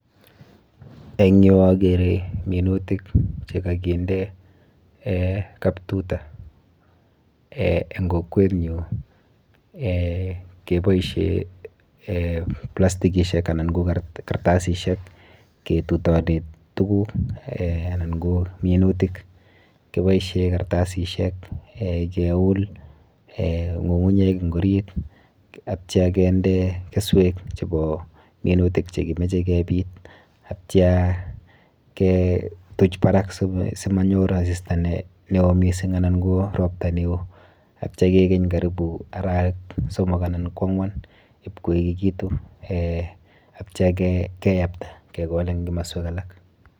Eng yu akere minutik chekakinde eh kap tuta eh eng kokwenyu eh keboishe eh plastikishek anan ko kartasishek ketutone tuguk anan ko minutik. Kiboishe kastasishek eh keul eh ng'ungunyek eng orit atya kende keswek chebo minutik chekimoche kebit atya ketuch barak simanyor asista neo mising anan ko ropta neo atya kekeny karibu arawek somok anan ko ang'wan ipkoekiitu atya keyapta kekol eng kimoswek alak.